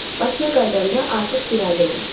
Bakıya qayıdanda artıq bir ailə olmuşduq.